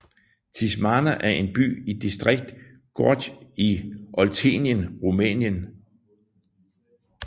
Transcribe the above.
Tismana er en by i distriktet Gorj i Oltenien Rumænien